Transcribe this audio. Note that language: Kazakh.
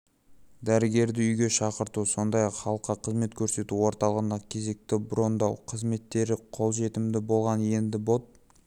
дәрігерді үйге шақырту сондай-ақ халыққа қызмет көрсету орталығында кезекті брондау қызметтері қолжетімді болған енді бот